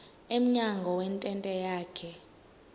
emnyango wentente yakhe